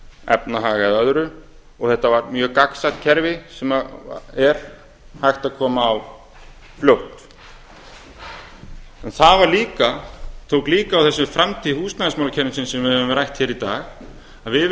efnahag eða öðru og þetta var mjög gagnsætt kerfi sem er hægt að koma á fljótt það tók líka á þessu með framtíð húsnæðiskerfisins sem við höfum rætt hér í dag að við